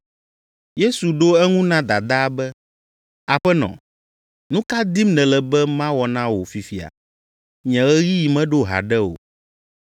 Yesu ɖo eŋu na dadaa be, “Aƒenɔ, nu ka dim nèle be mawɔ na wò fifia? Nye ɣeyiɣi meɖo haɖe o.”